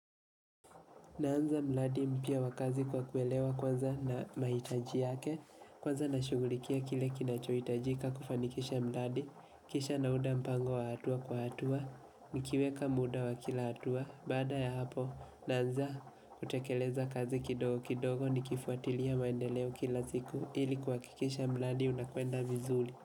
Naanza mradi mpya wa kazi kwa kuelewa kwanza na mahitaji yake, kwanza na shughulikia kile kinachohitajika kufanikisha mradi, kisha nauda mpango wa hatua kwa hatua, nikiweka muda wa kila hatua, baada ya hapo naanza kutekeleza kazi kidogo kidogo ni kifuatilia maendeleo kila siku ili kuhakikisha mradi unakwenda vizuri.